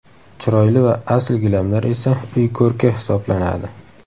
Chiroyli va asl gilamlar esa uy ko‘rki hisoblanadi.